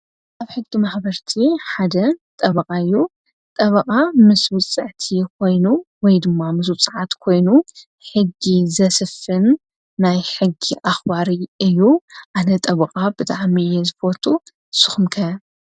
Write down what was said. ካብ ሕጊ መክበርቲ ሓደ ጠበቓ እዩ። ጠብቓ ምስ ውፅዕቲ ኾይኑ ወይ ድማ ምስ ውጽዓት ኮይኑ ሕጊ ዘስፍን ናይ ሕጊ ኣኽባሪ እዩ። ኣነ ጠብቓ ብጣዕሚ እየ ዝፈቱ ንስኹም ከ?